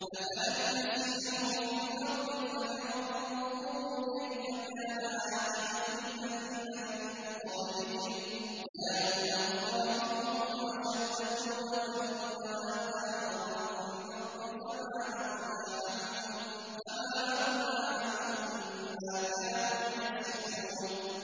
أَفَلَمْ يَسِيرُوا فِي الْأَرْضِ فَيَنظُرُوا كَيْفَ كَانَ عَاقِبَةُ الَّذِينَ مِن قَبْلِهِمْ ۚ كَانُوا أَكْثَرَ مِنْهُمْ وَأَشَدَّ قُوَّةً وَآثَارًا فِي الْأَرْضِ فَمَا أَغْنَىٰ عَنْهُم مَّا كَانُوا يَكْسِبُونَ